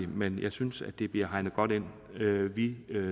men jeg synes det bliver hegnet godt ind vi